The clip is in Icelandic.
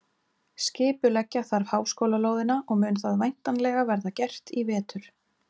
Skipuleggja þarf háskólalóðina og mun það væntanlega verða gert í vetur.